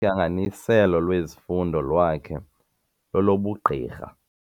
Uhlanganiselo lwezifundo lwakhe lolobugqirha.